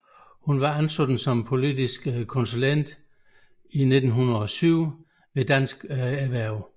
Hun var ansat som politisk konsulent i 2007 hos Dansk Erhverv